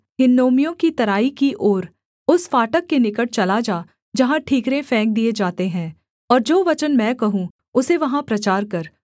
हिन्नोमियों की तराई की ओर उस फाटक के निकट चला जा जहाँ ठीकरे फेंक दिए जाते हैं और जो वचन मैं कहूँ उसे वहाँ प्रचार कर